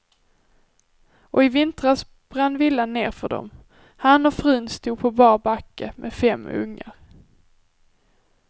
Och i vintras brann villan ner för dom, han och frun stod på bar backe med fem ungar.